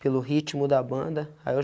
pelo ritmo da banda, aí eu